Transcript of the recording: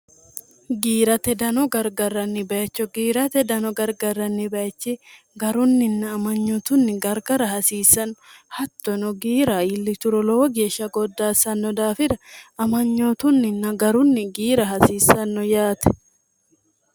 giirate dano gargarranni bayecho giirate dano gargarranni bayichi garunninna amanyootunni gargara hasiissanno hattono giira illiturolowo geeshsha goddaassanno daafida amanyootunninna garunni giira hasiissanno yaate